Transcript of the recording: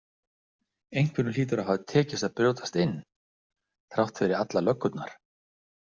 Einhverjum hlýtur að hafa tekist að brjótast inn þrátt fyrir allar löggurnar.